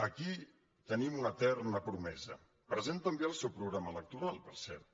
aquí tenim una eterna promesa present també al seu programa electoral per cert